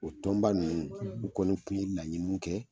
O donba ninnu n kɔni tun ye laɲini kɛ.